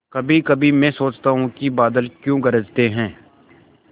कभीकभी मैं सोचता हूँ कि बादल क्यों गरजते हैं